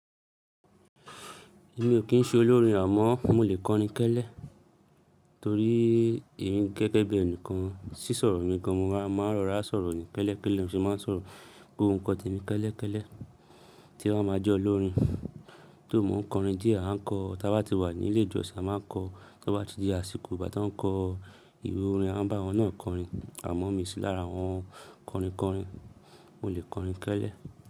Èmi ò kí ń ṣe olórin àmọ́ mo lè kọrin kẹ́lẹ́ torí èmí gẹ́gẹ́ bí ẹni kan sí sọ̀rọ̀ mi gan, mo máa ń rọra sọ̀rọ̀ ni kẹ́lẹ́ kẹ́lẹ́, ní mo se máa sọ̀rọ̀ gbogbo nkan tè mi kẹ́lẹ́ kẹ́lẹ́ tí ń bà máa jẹ́ olórin. Tó, mò ń kọrin dìé? A ń kọ ta bá ti wà ní ilé ìjọsìn a máa ń kọ, ta bá ti dé àsìkò ìgbà tí wọ́n ń kọ ìwé orin a ń bá wọn náà kọrin. Àmọ́ mi sì lára àwọn kọrin kọrin, mo lè kọrin kẹ́lẹ́